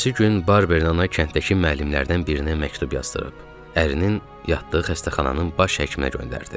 Ertəsi gün Barbernana kənddəki müəllimlərdən birinə məktub yazdırıb, ərinin yatdığı xəstəxananın baş həkiminə göndərdi.